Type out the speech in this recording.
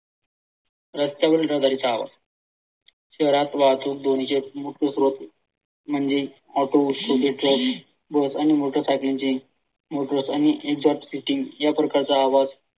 रस्त्यावरील रहदारीचा आवाज शहरात वाहतूक ध्वनीचे मुख्य स्त्रोत म्हणजे ऑटो छोटे ट्रक, बस आणि मोटर सायकल यांचे motors आणि या प्रकारचा आवाज